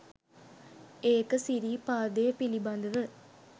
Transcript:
ඒක සිරිපාදේ පිළිබඳව